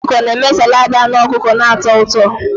Anụ ọkụkọ na-eme saladi anu ọkụkọ na-atọ ụtọ.